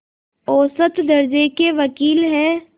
औसत दर्ज़े के वक़ील हैं